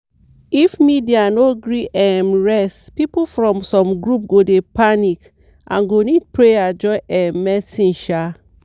if media no gree um rest people from some groups go dey panic and go need prayer join um medicine. um